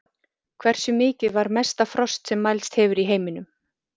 Hversu mikið var mesta frost sem mælst hefur í heiminum?